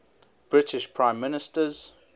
british prime ministers